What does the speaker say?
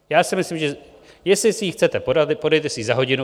Já si myslím, že jestli si ji chcete podat, podejte si ji za hodinu.